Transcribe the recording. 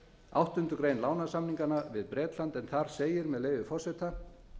áttundu greinar lánasamningsins við bretland en þar segir með leyfi forseta